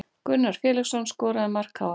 Gunnar Felixson skoraði mark KR